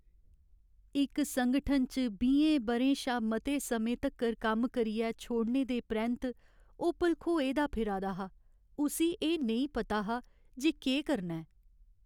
इक संगठन च बीहें ब'रें शा मते समें तक्कर कम्म करियै छोड़ने दे परैंत्त, ओह् भलखोए दा फिरा दा हा, उस्सी एह् नेईं पता हा जे केह् करना ऐ।